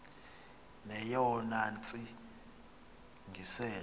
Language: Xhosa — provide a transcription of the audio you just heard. neyona ntsi ngiselo